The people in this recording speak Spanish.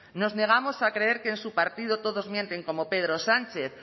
nos negamos a creer que en su partido todos mienten como pedro sánchez